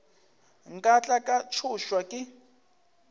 nka tla ka tšhošwa ke